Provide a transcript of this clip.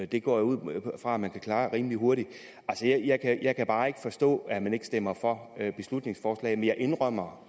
det går jeg ud fra at man kan klare rimelig hurtigt jeg kan bare ikke forstå at man ikke stemmer for beslutningsforslaget men jeg indrømmer